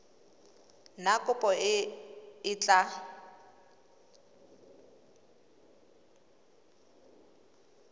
na kopo e e tla